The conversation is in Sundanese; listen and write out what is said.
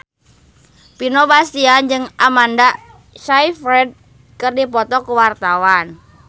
Vino Bastian jeung Amanda Sayfried keur dipoto ku wartawan